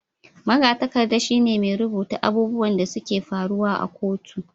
Magatakarda shi ne mai rubutun abubuwan da su ke faruwa a kotu